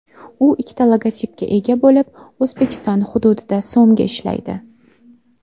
U ikkita logotipga ega bo‘lib, O‘zbekiston hududida so‘mga ishlaydi.